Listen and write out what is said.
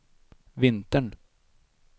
vintern